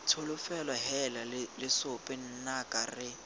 tsholofelo heela lesope nnaka re